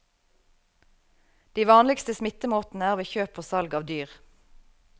De vanligste smittemåtene er ved kjøp og salg av dyr.